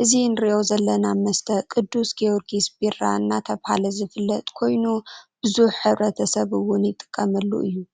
።እዚ ንሪኦ ዘለና መስተ ቅዱስ ግርግስ ቢራ እናተባሀለ ዝፈለጥ ኮይኑ ቡዝሕት ሕብረተስብ እውን ይጥቀመሉ እዩ ።